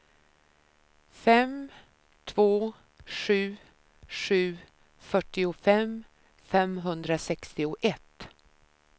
fem två sju sju fyrtiofem femhundrasextioett